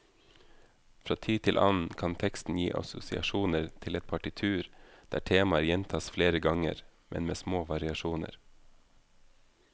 Fra tid til annen kan teksten gi assosiasjoner til et partitur der temaer gjentas flere ganger, men med små variasjoner.